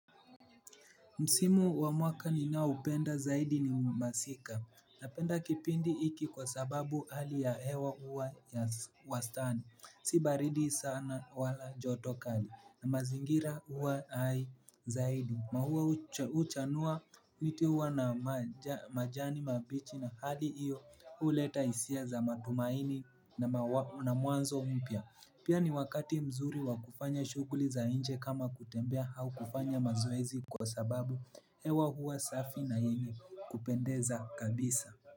Msimu wa mwaka ninao upenda zaidi ni masika. Napenda kipindi iki kwa sababu hali ya hewa huwa ya wastani. Sibaridi sana wala joto kali na mazingira huwa hai zaidi maua uchanua miti huwa na majani mabichi na hali iyo uleta hisia za matumaini na mwanzo mpya, pia ni wakati mzuri wa kufanya shuguli za nje kama kutembea au kufanya mazoezi kwa sababu hewa huwa safi na yenye kupendeza kabisa.